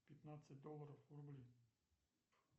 пятнадцать долларов в рубли